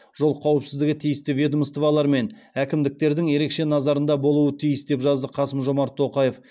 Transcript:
жол қауіпсіздігі тиісті ведомстволар мен әкімдіктердің ерекше назарында болуы тиіс деп жазды қасым жомарт тоқаев